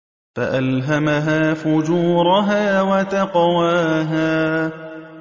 فَأَلْهَمَهَا فُجُورَهَا وَتَقْوَاهَا